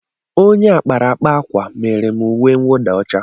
Onye akparaakpa akwa mere m uwe mwụda ọcha.